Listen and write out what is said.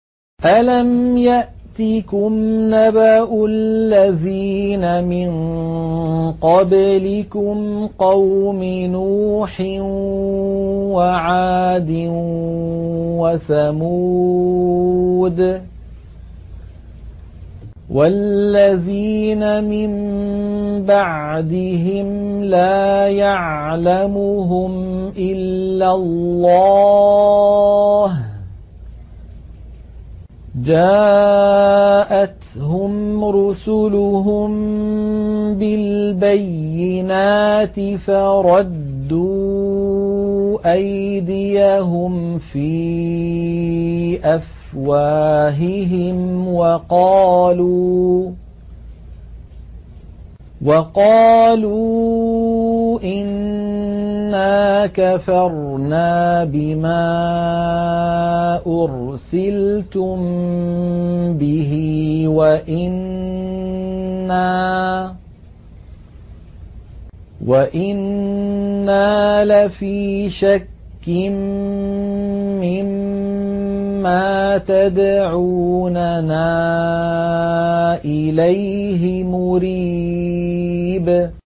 أَلَمْ يَأْتِكُمْ نَبَأُ الَّذِينَ مِن قَبْلِكُمْ قَوْمِ نُوحٍ وَعَادٍ وَثَمُودَ ۛ وَالَّذِينَ مِن بَعْدِهِمْ ۛ لَا يَعْلَمُهُمْ إِلَّا اللَّهُ ۚ جَاءَتْهُمْ رُسُلُهُم بِالْبَيِّنَاتِ فَرَدُّوا أَيْدِيَهُمْ فِي أَفْوَاهِهِمْ وَقَالُوا إِنَّا كَفَرْنَا بِمَا أُرْسِلْتُم بِهِ وَإِنَّا لَفِي شَكٍّ مِّمَّا تَدْعُونَنَا إِلَيْهِ مُرِيبٍ